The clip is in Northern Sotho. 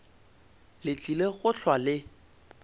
le tlile go hlwa le